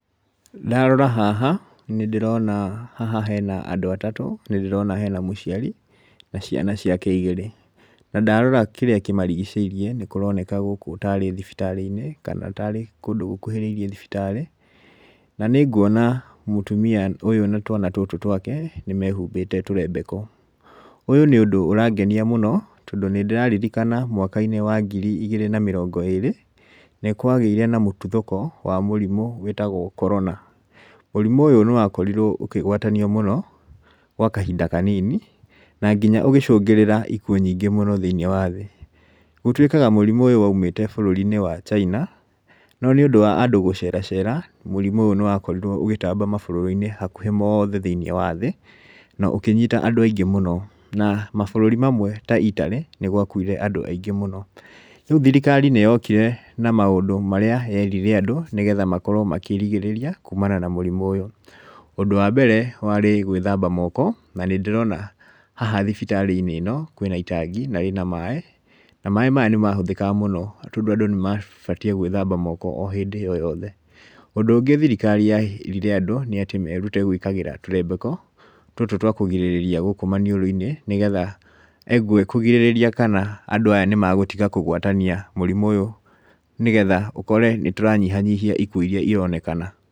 Ndarora haha, nĩ ndĩrona haha hena andũ atatũ, ndĩrona hena mũciari, na ciana ciake igĩrĩ, na ndarora kirĩa kĩmarigicĩirie nĩ kũroneka gũkũ tarĩ thibitarĩ-inĩ, kana tarĩ kũndũ gũkuhĩrĩirie thibitarĩ , na nĩ nguona mũtumia ũyũ na twana tũtũ twake, nĩmehumbĩte tũrembeko , ũyũ nĩ ũndũ ũrangenia mũno tondũ nĩ ndĩraririkana mwaka-inĩ wa ngiri igĩrĩ na mĩrongo ĩrĩ, nĩ kwagĩire na mũtuthũko wa mũrimũ wĩtagwo corona, mũrimũ ũyũ nĩ wa korirwo ũkĩgwatanio mũno gwa kahinda kanini, na nginya ũgĩcũngĩrĩra ikwo nyingĩ mũno thĩiniĩ wa thĩ, gũtwĩkaga mũrimũ ũyũ waumĩte bũrũri-inĩ wa China, no nĩ ũndũ wa andũ gũceracera mũrimũ ũyũ nĩwakorirwo ũgĩtaba mabũrũri-inĩ hakuhĩ mothe thĩ na ũkĩnyita andũ aingĩ mũno, na mabũrũri mangĩ ta Italy nĩ gwakuire andũ aingĩ mũno, rĩũ thirikari nĩyokire na maũndũ marĩa yerire andũ nĩgetha makorwo makĩrigĩrĩria kumana na mũrimũ ũyũ, ũndũ wa mbere warĩ gwĩthaba moko na nĩ ndĩrona haha thibitarĩ-inĩ ĩno kwĩna itangi na rĩna maaĩ, na maaĩ maya nĩmahũthĩkaga mũno tondũ andũ nĩmabatiĩ gwĩthaba moko hĩndĩ o yothe, ũndũ ũngĩ thirikari yerire andũ nĩ atĩ merute gwĩkĩra tũrembeko tũtũ twa kũrigĩrĩria gũkũ maniũrũ-inĩ, nĩgetha kũrigĩrĩria kana andũ aya nĩ magũtiga kũgwatania mũrimũ ũyũ, nĩgetha ũkore nĩ tũranyihanyihia ikuo iria ironekana.